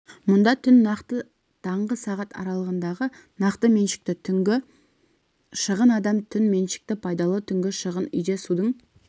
мұнда түн нақты таңғы сағат аралығындағы нақты меншікті түнгі шығын адам түн меншікті пайдалы түнгі шығын үйде судың